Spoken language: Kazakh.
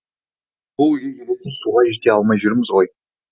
сол үйге келетін суға жете алмай жүрміз ғой